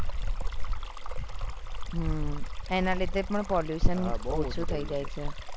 હ એના લીધે પણ pollution બહુ ઓછું થઇ જાય છે